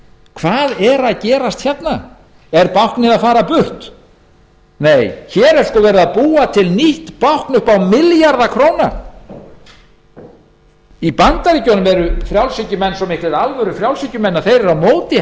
hvað er að gerast hérna er báknið að fara burt nei hér er sko verið að búa til nýtt bákn upp á milljarða króna í bandaríkjunum eru frjálshyggjumenn svo miklir alvörufrjálshyggjumenn að þeir